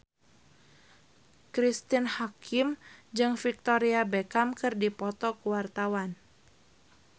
Cristine Hakim jeung Victoria Beckham keur dipoto ku wartawan